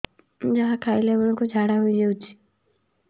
ଯାହା ଖାଇଲା ବେଳକୁ ଝାଡ଼ା ହୋଇ ଯାଉଛି